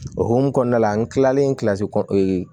O hukumu kɔnɔna la n kilalen kilasi kɔnku